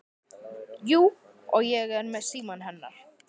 Jú, og ég er með símann hennar.